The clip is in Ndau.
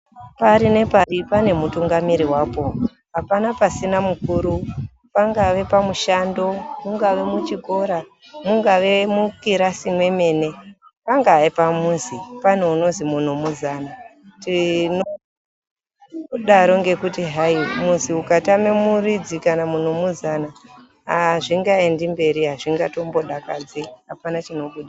Pari nepari pane mutungamiri wapo. Hapana pasina mukuru. Pangave pamushando, mungave muchikora, mungave mukirasi mwemene pangave pamuzi pane unozi munhu muzana tinodaro ngekuti muzi ukatama muridzi kana kuti munhu muzana azvingaendi mberi azvinga tombodakadzi hapana chinobuda.